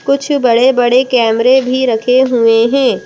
कुछ बड़े बड़े कैमरे भी रखे हुए हैं।